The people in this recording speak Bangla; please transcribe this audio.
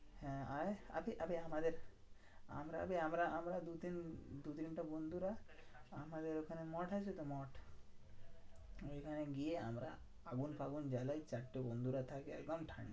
হ্যাঁ আয় আমাদের আমরা আমরা আমরা দুতিন~ দুতিনটে বন্ধুরা আমাদের ওখানে মঠ আছে তো মঠ। ঐখানে গিয়ে আমরা আগুন ফাগুন জ্বালাই, চারটে বন্ধুরা থাকে। একদম ঠান্ডা